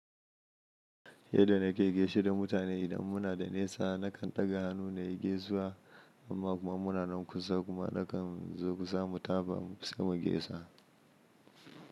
Yadda nake gaishe da mutane idan muna da nesa, nakan ɗaga hannu na yi gaisuwa, amma kuma muna nan kusa kuma nakan zo kusa mu tafa sai mu gaisa.